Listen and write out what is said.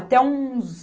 Até uns...